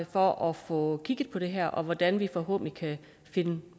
for at få kigget på det her og hvordan vi forhåbentlig kan finde